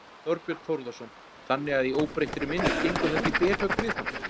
Þorbjörn Þórðarson: Þannig að í óbreyttri mynd gengur þetta í berhögg við hann?